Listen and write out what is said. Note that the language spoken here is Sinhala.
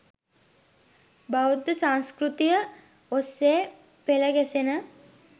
බෞද්ධ සංස්කෘතිය ඔස්සේ පෙළ ගැසෙන